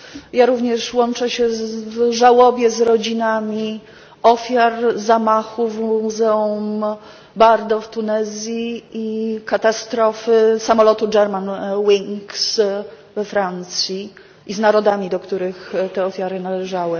Ja również łączę się w żałobie z rodzinami ofiar zamachu w Muzeum Bardo w Tunezji i katastrofy samolotu Germanwings we Francji i z narodami, do których te ofiary należały.